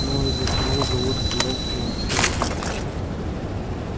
ну и затянул же вуд изложенное своей тактики